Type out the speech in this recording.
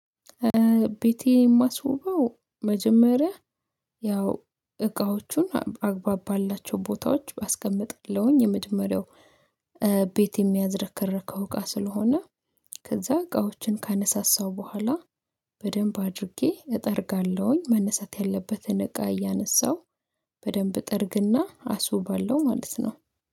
ቤቴ የማስውበው መጀመሪያ ያው እቃዎቹን አግባብ ባላቸው ቦታዎች ባስቀምጥለሁኝ የመጀመሪያው ቤት የሚያዝረከረከው እቃ ስለሆነ ከዛ እቃዎችን ካነሳሳው በኋላ በደንብ አድርጌ እጠርጋለሁኝ መነሳት ያለበትን እቃ እያነሳው በደንብ ጠርግና አሱባለው ማለት ነው